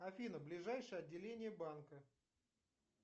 афина ближайшее отделение банка